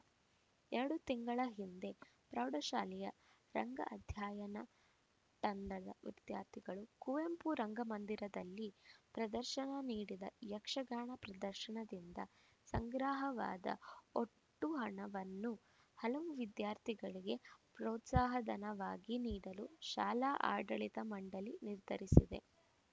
ಎರಡು ತಿಂಗಳ ಹಿಂದೆ ಪ್ರೌಢ ಶಾಲೆಯ ರಂಗ ಅಧ್ಯಯನ ತಂಡದ ವಿದ್ಯಾರ್ಥಿಗಳು ಕುವೆಂಪು ರಂಗಮಂದಿರದಲ್ಲಿ ಪ್ರದರ್ಶನ ನೀಡಿದ ಯಕ್ಷಗಾನ ಪ್ರದರ್ಶನದಿಂದ ಸಂಗ್ರಹವಾದ ಒಟ್ಟು ಹಣವನ್ನು ಹಲವು ವಿದ್ಯಾರ್ಥಿಗಳಿಗೆ ಪ್ರೋತ್ಸಾಹ ಧನವಾಗಿ ನೀಡಲು ಶಾಲಾ ಆಡಳಿತ ಮಂಡಳಿ ನಿರ್ಧರಿಸಿದೆ